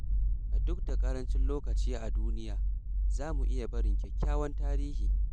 Duk da ƙarancin lokaci a duniya, za mu iya barin kyakkyawan tarihi.